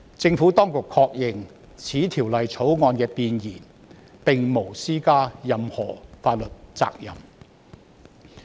政府當局確認，《條例草案》弁言並無施加任何法律責任。